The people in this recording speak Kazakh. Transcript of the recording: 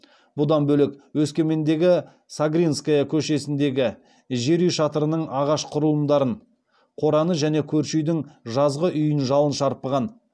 бұдан бөлек өскемендегі согринская көшесіндегі жер үй шатырының ағаш құрылымдарын қораны және көрші үйдің жазғы асүйін жалын шарпыған